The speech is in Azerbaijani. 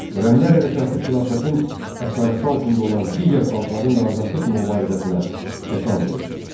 Xürrəmilər hərəkatı xilafətin əsarəti altında olan digər xalqların da azadlıq mübarizəsinə təkan verdi.